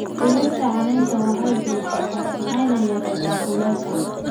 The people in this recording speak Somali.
Dhirta caleenta waxay bixisaa hadh waxayna yareysaa kuleylka.